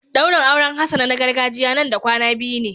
Daurin auren Hassana na gargajiya Nan da kwana biyu ne.